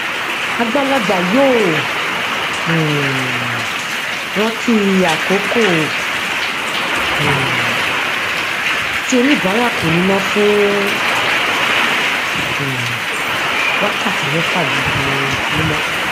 àgbàlagbà yóò um rántí àkókò um tí oníbàárà kò ní iná fún um wákàtí mẹfà lójoojúmọ